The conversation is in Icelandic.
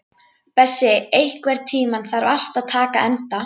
Bessi, einhvern tímann þarf allt að taka enda.